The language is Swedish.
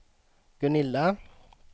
Gunilla